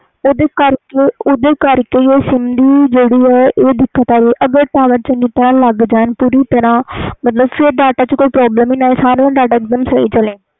ਓਹਦੇ ਕਰਕੇ ਦੀ ਜਿਹੜੀ ਦਿਕਤ ਆਂਦੀ ਆ ਅਗਰ tower ਚੰਗੀ ਤਰਾਂ ਲੱਗ ਜਾਨ ਪੂਰੀ ਤਰਾਂ ਫਿਰ ਵਿਚ ਕੋਈ problem ਨਹੀਂ ਆਵੇ ਗਈ